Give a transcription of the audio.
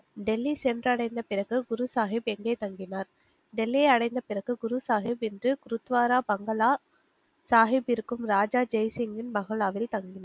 டெல்லி சென்றடைந்த பிறகு குருசாஹிப் எங்கே தங்கினார். டெல்லியை அடைந்த பிறகு குருசாஹிப் என்று ருத்வாரா பங்களா சாஹிப்பிற்கும் ராஜா ஜெய்சிங்கின் பங்களாவில் தங்கினார்